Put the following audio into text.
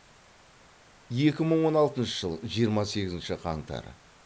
екі мың он алтыншы жыл жиырма сегізінші қаңтар